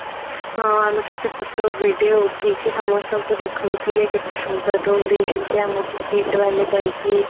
ହଁ ଆମେ କେତେ photo video ଉଠେଇକି ସମସ୍ତଙ୍କୁ ଦେଖୋଉଥିଲେ କେତେ ସୁନ୍ଦର room ଦେଇଛନ୍ତି ଆମକୁ KIIT ବାଲା କହିକି